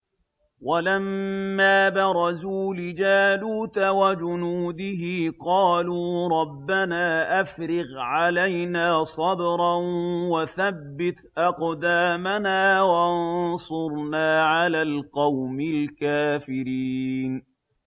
وَلَمَّا بَرَزُوا لِجَالُوتَ وَجُنُودِهِ قَالُوا رَبَّنَا أَفْرِغْ عَلَيْنَا صَبْرًا وَثَبِّتْ أَقْدَامَنَا وَانصُرْنَا عَلَى الْقَوْمِ الْكَافِرِينَ